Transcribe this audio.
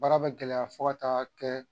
Baara bɛ gɛlɛya fo ka taa kɛ